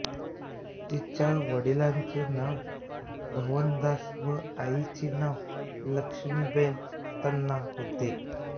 तिचा वडिलांचे नाव भवनदास व आईचे नाव लक्ष्मीबेन तन्ना होते